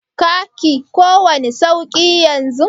ka ki kowani sauki yanzun?